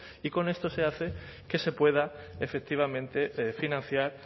y con esto se hace que se pueda efectivamente financiar